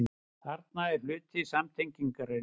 Þarna er að hluti samtengingarinnar.